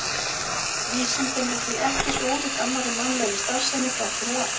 Vísindin eru því ekki svo ólík annarri mannlegri starfsemi þrátt fyrir allt.